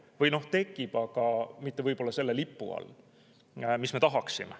Või tekib, aga võib-olla mitte selle lipu all, mida me tahaksime.